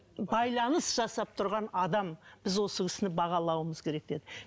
байланыс жасап тұрған адам біз осы кісіні бағалауымыз керек деді